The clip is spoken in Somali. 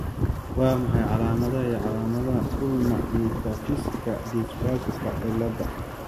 Waa maxay calaamadaha iyo calaamadaha Ulna metaphysika dysplasika ciladaha?